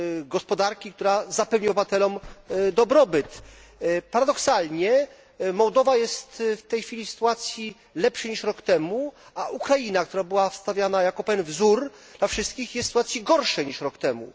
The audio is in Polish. gospodarki, która zapewni obywatelom dobrobyt. Paradoksalnie Mołdawia jest w tej chwili w sytuacji lepszej niż rok temu, a Ukraina, która była stawiana jako pewien wzór dla wszystkich, jest w sytuacji gorszej niż rok temu.